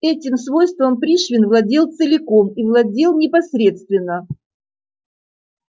этим свойством пришвин владел целиком и владел непосредственно